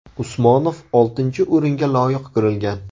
Usmonov oltinchi o‘ringa loyiq ko‘rilgan.